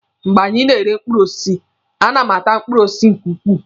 Mgbe anyị na-ere mkpụrụ osisi, a na m ata mkpụrụ osisi nke ukwuu.